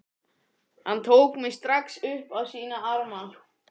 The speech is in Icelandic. Hann tók mig strax upp á sína arma.